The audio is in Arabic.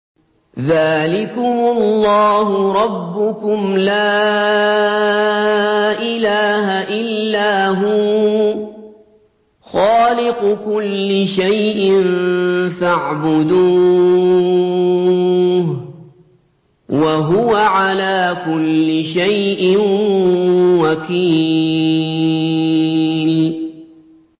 ذَٰلِكُمُ اللَّهُ رَبُّكُمْ ۖ لَا إِلَٰهَ إِلَّا هُوَ ۖ خَالِقُ كُلِّ شَيْءٍ فَاعْبُدُوهُ ۚ وَهُوَ عَلَىٰ كُلِّ شَيْءٍ وَكِيلٌ